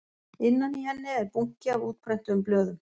Innan í henni er bunki af útprentuðum blöðum